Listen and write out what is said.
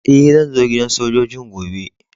Eh, zan zo gidan sojoji'n gobe.